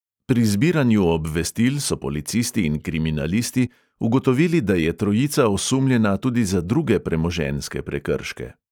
Pri zbiranju obvestil so policisti in kriminalisti ugotovili, da je trojica osumljena tudi za druge premoženjske prekrške.